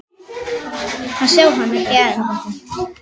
að sjá hann, ekki enn.